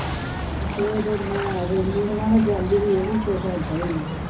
ਫੇਰ ਮੈਂ ਰੁੰਨੀ ਸਾਆ ਤੇ ਜਾਂਦੀ ਸਾਂ ਇਹੋ ਕੁਝ ਹਟਦਾ ਨਹੀਂ ਸੀ